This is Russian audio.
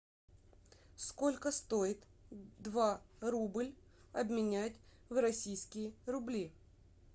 сколько стоит два рубль обменять в российские рубли